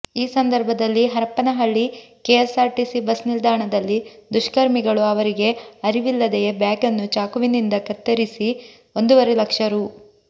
ಈ ಸಂದರ್ಭದಲ್ಲಿ Harapanahalli KSRTC bus ನಿಲ್ದಾಣದಲ್ಲಿ ದುಷ್ಕರ್ಮಿಗಳು ಅವರಿಗೆ ಅರಿವಿಲ್ಲದೆಯೇ ಬ್ಯಾಗನ್ನು ಚಾಕುವಿನಿಂದ ಕತ್ತರಿಸಿ ಒಂದೂವರೆ ಲಕ್ಷ ರೂ